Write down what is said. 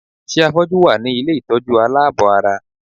Ṣé àfọ́jú wà ní ilé ìtọ́jú aláàbọ̀-ara?